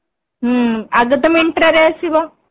ହୁଁ ଆଗତ Myntra ରେ ଆସିବ